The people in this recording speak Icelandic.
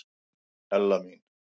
Ella mín.